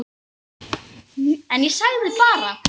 En ég sagði bara